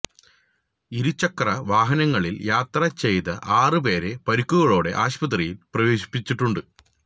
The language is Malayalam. ഇരുചക്ര വാഹനങ്ങളില് യാത്ര ചെയ്ത ആറ് പേരെ പരുക്കുകളോടെ ആശുപത്രിയില് പ്രവേശിപ്പിച്ചിട്ടുണ്ട്